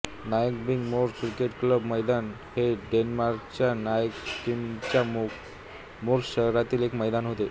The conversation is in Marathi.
नायकाबिंग मोर्स क्रिकेट क्लब मैदान हे डेन्मार्कच्या नायकाबिंग मोर्स शहरातील एक मैदान होते